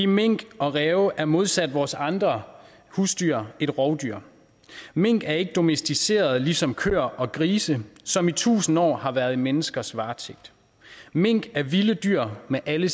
minken og ræven er modsat vores andre husdyr et rovdyr mink er ikke domesticerede ligesom køer og grise som i tusind år har været i menneskers varetægt mink er vilde dyr med alle